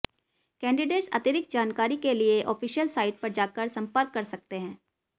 candidates अतिरिक्त जानकारी के लिए ऑफिशियल साइट पर जाकर सम्पर्क कर सकते हैं